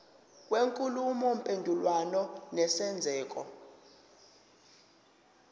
kwenkulumo mpendulwano nesenzeko